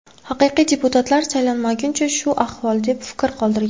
Haqiqiy deputatlar saylanmaguncha, shu ahvol”, deb fikr qoldirgan.